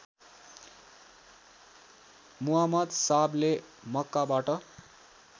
मुहम्म्द साहबले मक्काबाट